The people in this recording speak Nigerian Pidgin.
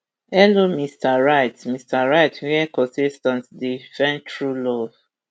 hello mr right mr right wia contestants dey find true love